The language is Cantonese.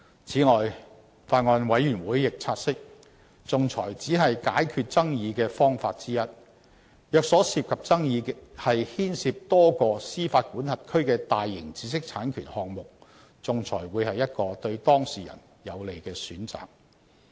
此外，法案委員會亦察悉，仲裁只是解決爭議的方法之一，若所涉爭議牽涉多個司法管轄區的大型知識產權項目，仲裁會是一個對當事人有利的選擇。